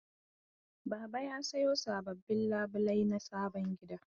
Baba ya sayo sababbin labulai na sabon gida.